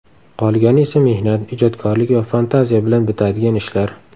Qolgani esa mehnat, ijodkorlik va fantaziya bilan bitadigan ishlar.